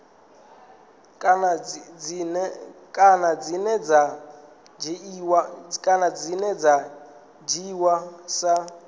kana dzine dza dzhiiwa sa